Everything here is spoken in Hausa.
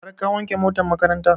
Har ka wanke motan makaranta?